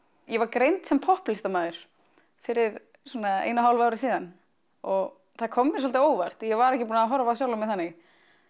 ég var greind sem popplistamaður fyrir svona einu og hálfu ári síðan og það kom mér svolítið á óvart ég var ekki búin að horfa á sjálfa mig þannig